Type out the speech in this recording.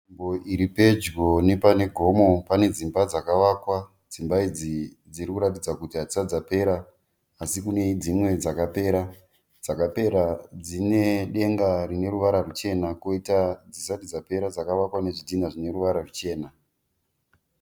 Nzvimbo iri pedyo nepane gomo. Pane dzimba dzakavakwa. Dzimba idzi dziri kuratidza kuti hadzisati dzapera asi kune dzimwe dzakapera. Dzakapera dzine denga rine ruvara ruchena koita dzisati dzapera dzaka vakwa nezvidhinha zvine ruva ruchena.